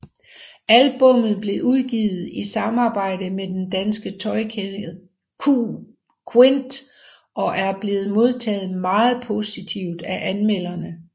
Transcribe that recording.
Albummet blev udgivet i samarbejde med den danske tøjkæde qUINT og er blevet modtaget meget positivt af anmelderne